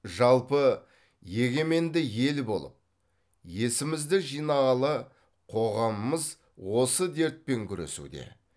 жалпы егеменді ел болып есімізді жинағалы қоғамымыз осы дертпен күресуде